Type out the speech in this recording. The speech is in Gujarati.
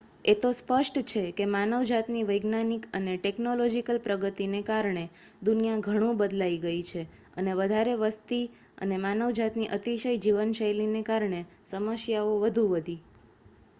એ તો સ્પષ્ટ છે કે માનવજાતની વૈજ્ઞાનિક અને ટેકનોલોજીકલ પ્રગતિને કારણે દુનિયા ઘણું બદલાઈ ગયી, અને વધારે વસ્તી અને માનવજાતની અતિશય જીવનશૈલીને કારણે સમસ્યાઓ વધુ વધી